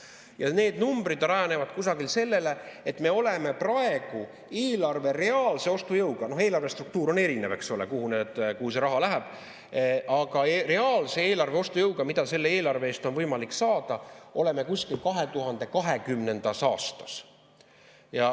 Ja need numbrid rajanevad kusagil sellel, et me oleme praegu eelarve reaalse ostujõuga – eelarve struktuur on erinev, eks ole, kuhu see raha läheb –, mida selle eelarve eest on võimalik saada, kusagil 2020. aastas.